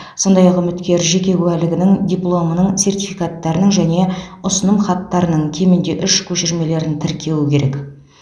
сондай ақ үміткер жеке куәлігінің дипломының сертификаттарының және ұсынымхаттарының кемінде үш көшірмелерін тіркеуі керек